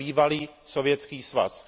na bývalý Sovětský svaz.